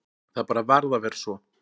Það bara varð að vera svo.